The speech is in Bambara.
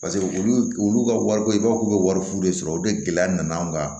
Paseke olu olu ka wari ko i b'a fɔ k'u bɛ wari fu de sɔrɔ o de gɛlɛya nana an ka